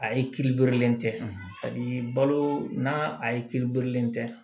A ye kiiri borilen tɛ balo n'a ye kiiri bulon tɛ